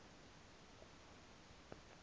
emva koko kuba